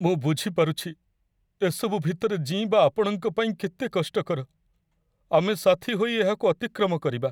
ମୁଁ ବୁଝିପାରୁଛି, ଏସବୁ ଭିତରେ ଜୀଇଁବା ଆପଣଙ୍କ ପାଇଁ କେତେ କଷ୍ଟକର! ଆମେ ସାଥୀ ହୋଇ ଏହାକୁ ଅତିକ୍ରମ କରିବା।